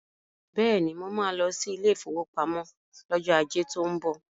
Beni, mo máa lọ sí ilé ìfowópamọ́ lọ́jọ́ ajé tó ń bọ̀.